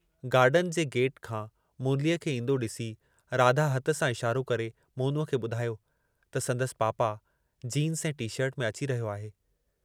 Garden जे gate खां मुरलीअ खे ईंदो ॾिसी राधा हथ सां इशारो करे मोनूअ खे ॿुधायो त संदसि पापा जीन्स ऐं टी-शर्ट में अची रहियो आहे।